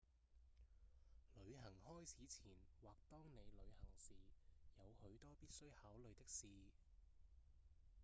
旅行開始前或當你旅行時有許多必須考慮的事